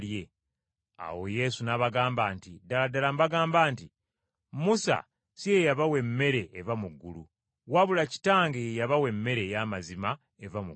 Awo Yesu n’abagamba nti, “Ddala ddala mbagamba nti Musa si ye yabawa emmere eva mu ggulu, wabula Kitange ye yabawa emmere ey’amazima eva mu ggulu.